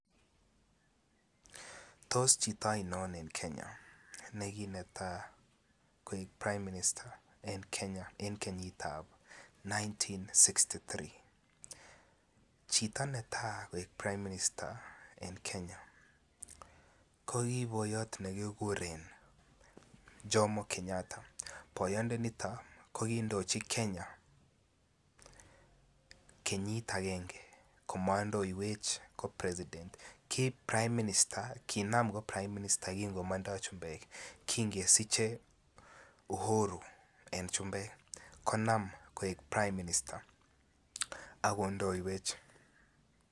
Tos chito oinon en Kenya neki netai koek prime minister en kenyitab 1963 chito netai koik prime minister en Kenya ki boyot nekikuren jomo kenyatta boyondonito ko ki indochi Kenya kenyit agenge kotom koik president ki inam ko prime minister ki ko mondoi chumbek kin kesiche Uhuru en chumbek konam ko prime minister ak kondoiwech